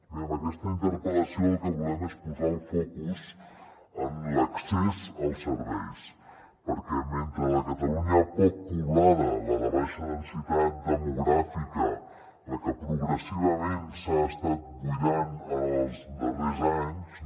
bé amb aquesta interpel·lació el que volem és posar el focus en l’accés als serveis perquè mentre la catalunya poc poblada la de baixa densitat demogràfica la que progressivament s’ha estat buidant en els darrers anys no